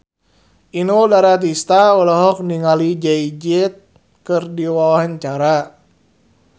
Inul Daratista olohok ningali Jay Z keur diwawancara